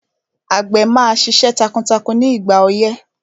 Àgbẹ̀ máa ṣiṣẹ́ takuntakun ní ìgbà ọyẹ́